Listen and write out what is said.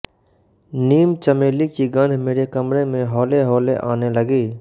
नीमचमेली की गन्ध मेरे कमरे में हौलेहौले आने लगी